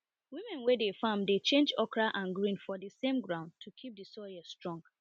women wey dey farm dey change okra and green for the same ground to keep the soil strong